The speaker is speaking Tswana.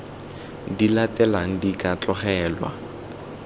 di latelang di ka tlogelwa